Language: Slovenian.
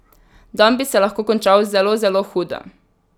Dan bi se lahko končal zelo zelo hudo.